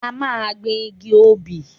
A máa gbin igi obì.